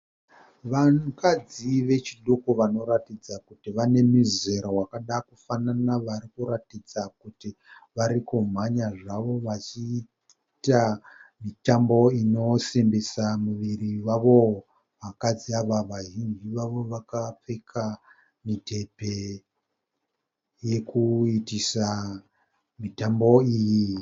Vanhukadzi vechidoko vanoratidza kuti vane mizera wakada kufanana. Varikuratidza kuti varikumhanya zvavo achiita mitambo inosimbisa miviri yavo. Vakadzi ava vazhinji vavo vakapfeka midhebhe yokuitisa mitambo iyi.